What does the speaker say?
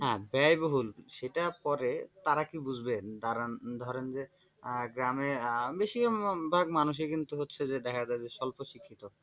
হ্যাঁ ব্যয়বহুল সেটা পরে তারা কী বুঝবে? ধরেনধরেন যে গ্রামে বেশিরভাগ মানুষই কিন্তু হচ্ছে যে দেখা যায় স্বল্পশিক্ষিত।